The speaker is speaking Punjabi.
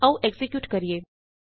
ਆਉ ਐਕਜ਼ੀਕਿਯੂਟ ਕਰੀਏ